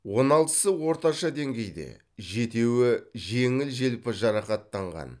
он алтысы орташа деңгейде жетеуі жеңіл желпі жарақаттанған